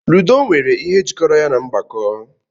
Ludo nwere ihe jikọrọ ya na mgbako.